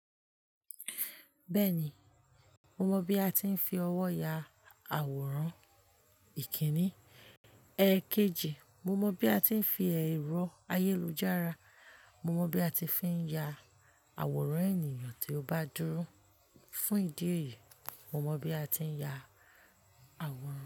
Bẹ́ẹ̀ni, mo mọ bí a ti ń fi ọwọ́ ya àwòrán ìkíni. Ẹ̀ẹ̀kejì, mo mọ bí a ti ń fi ẹ̀rọ ayélujára, mo mọ bí a ti fi ń ya àwòrán ènìyàn tí ó bá dúró. Fún ìdí èyí, mo mọ bí a ti ń ya àwòrán.